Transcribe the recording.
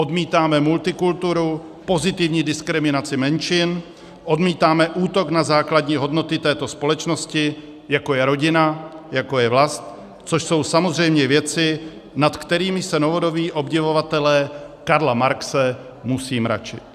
Odmítáme multikulturu, pozitivní diskriminaci menšin, odmítáme útok na základní hodnoty této společnosti, jako je rodina, jako je vlast, což jsou samozřejmě věci, nad kterými se novodobí obdivovatelé Karla Marxe musí mračit.